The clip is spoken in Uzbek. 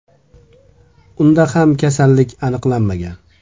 Unda ham kasallik aniqlanmagan.